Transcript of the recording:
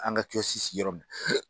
An ka kiyɔsi sigi yɔrɔ min.